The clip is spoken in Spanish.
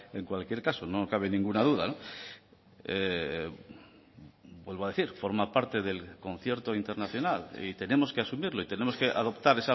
en cualquier caso no cabe ninguna duda vuelvo a decir forma parte del concierto internacional y tenemos que asumirlo y tenemos que adoptar